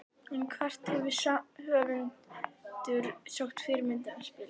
En hvert hefur höfundur sótt fyrirmyndina að spilinu?